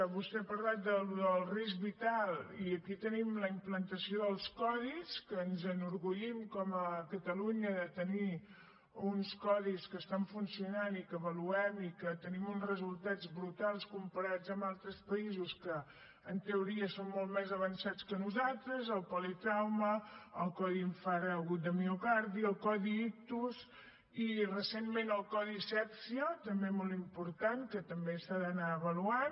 vostè ha parlat del risc vital i aquí tenim la implantació dels codis que ens enorgullim com a catalunya de tenir uns codis que funcionen i que avaluem i amb què tenim uns resultats brutals comparats amb altres països que en teoria són molt més avançats que nosaltres el politrauma el codi infart agut de miocardi el codi ictus i recentment el codi asèpsia també molt important que també s’ha d’anar avaluant